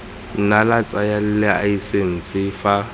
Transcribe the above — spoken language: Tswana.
nna la tsaya laesense fa